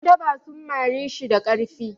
'Yandaba sun mari shi da ƙarfi.